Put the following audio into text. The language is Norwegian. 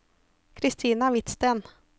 Christina Hvidsten